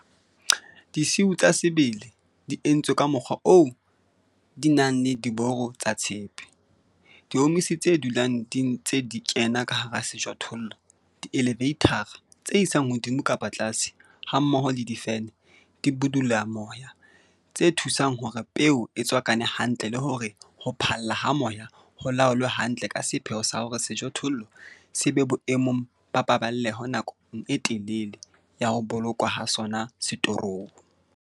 Disiu tsa sebele di entswe ka mokgwa oo di nang le diboro tsa tshepe, diomisi tse dulang di ntse di kena ka hara sejothollo, di-eleveithara, tse isang hodimo kapa tlase, hammoho le di-fene, dibudulamoya, tse thusang hore peo e tswakane hantle le hore ho phalla ha moya ho laolwe hantle ka sepheo sa hore sejothollo se be boemong ba paballeho nakong e telele ya ho bolokwa ha sona setorong.